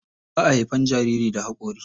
Ba a haifan jariri da hakori.